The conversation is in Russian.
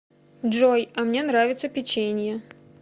джой а мне нравится печенье